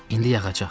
İndi yağacaq.